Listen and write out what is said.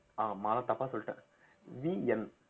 ஆஹ் மாலா தப்பா சொல்லிட்டேன் VN